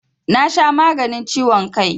Na sha maganin ciwon kai